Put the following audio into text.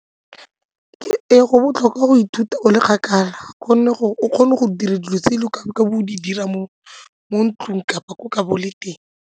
Ee, go botlhokwa go ithuta o le kgakala gonne gore o kgone go dira dilo tse e leng gore o ka be o di dira mo ntlong kapa le teng.